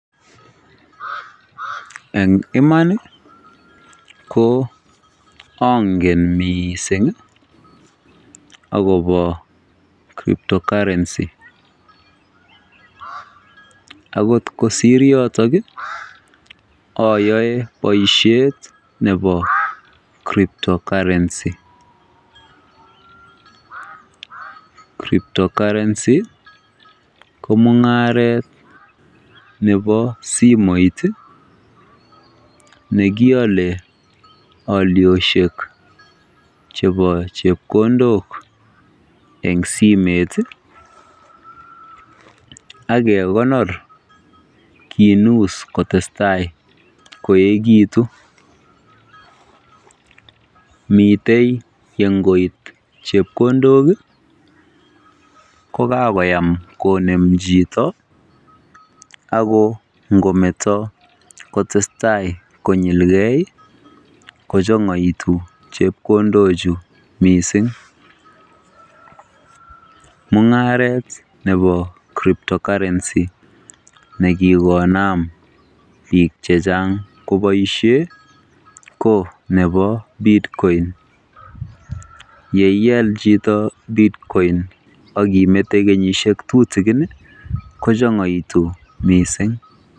Eng iman ko ongen miising akobo Kryptocurrency. Akot kosiir yotok ayoe boisiet nebo Kryptocurrency. Kryptocurrency ko mung'aret nebo simet nekiole oliosiek chebo chepkondok eng simeet akekonor kiinus kotestai koekitu. Mitei ye ngoit chepkondok ko kakoyam konem chito ako ngometo kotestai konyilgei kochongoitu chepkondochu mising. Mung'aret nebo Kryptocurrency nekikonaam .